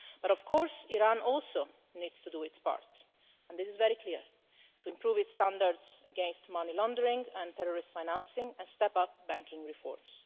Of course, Iran also needs to do its part and this is very clear to improve its standards against money laundering and terrorist financing and step up banking reforms.